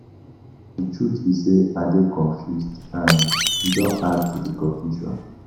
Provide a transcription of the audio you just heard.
Pastor the truth be say I dey confused and you don add to the confusion